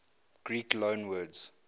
greek loanwords